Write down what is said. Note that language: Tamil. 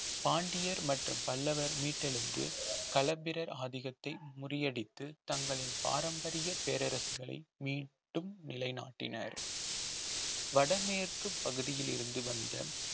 பாண்டியர் மற்றும் பல்லவர் மீட்டெழுந்து களப்பிரர் ஆதிக்கத்தை முறியடித்து தங்களின் பாரம்பரிய பேரரசுகளை மீண்டும் நிலைநாட்டினர் வடமேற்குப் பகுதியில் இருந்து வந்த